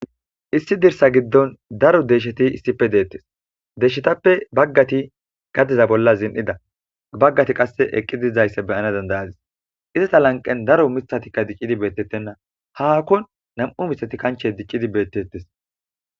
issi dirsa giddon daro deyisheti issife deettes deshshetappe baggati gadiza bolla zin'ida baggati qasse eqqi dizaysse be'ana dandayadis izata lanqen daro mithatikka diccidi beettettenna haakko nam'u mihati kanche dicidi beettettes